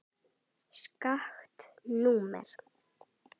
Skakkt númer.